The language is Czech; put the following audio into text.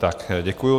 Tak děkuji.